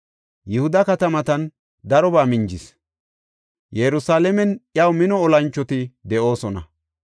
Yihuda katamatan darobaa minjis. Yerusalaamen iyaw mino olanchoti de7oosona.